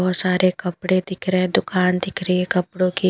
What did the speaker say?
बहुत सारे कपड़े दिख रहे हैं दुकान दिख रही है कपड़ों की --